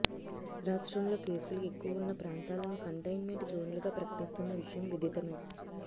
రాష్ట్రంలో కేసులు ఎక్కువ ఉన్న ప్రాంతాలను కంటైన్మెంట్ జోన్లు గా ప్రకటిస్తున్న విషయం విధితమే